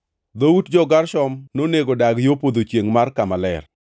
Dhout jo-Gershon nonego dag yo podho chiengʼ mar kama ler.